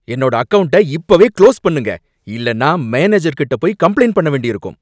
என்னோட அக்கவுண்ட்ட இப்பவே க்ளோஸ் பண்ணுங்க, இல்லைன்னா மேனேஜர்கிட்ட போய் கம்ப்ளைண்ட் பண்ண வேண்டி இருக்கும்